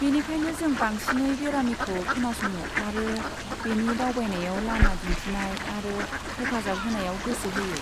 बेनिखायनो जों बांसिनै बेरामिखौ खोनासङो आरो बिनि दावबायनायाव लामा दिन्थिनाय आरो हेफाजाब होनायाव गोसो होयो।